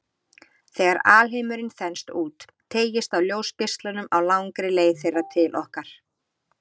Þegar alheimurinn þenst út, teygist á ljósgeislunum á langri leið þeirra til okkar.